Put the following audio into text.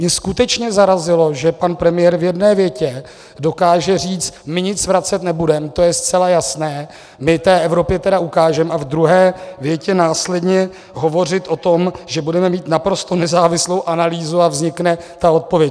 Mě skutečně zarazilo, že pan premiér v jedné větě dokáže říct "my nic vracet nebudem, to je zcela jasné, my té Evropě teda ukážem" a v druhé větě následně hovořit o tom, že budeme mít naprosto nezávislou analýzu a vznikne ta odpověď.